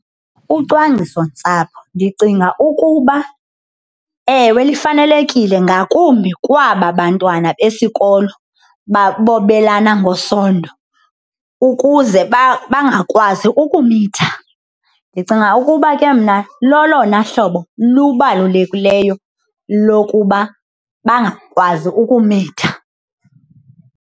Ucwangciso ntsapho ndicinga ukuba, ewe, lifanelekile ngakumbi kwaba bantwana besikolo bobelana ngesondo ukuze bangakwazi ukumitha. Ndicinga ukuba ke mna lolona hlobo lubalulekile lokuba bangakwazi ukumitha.